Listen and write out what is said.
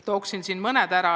Toon siin mõned võimalused ära.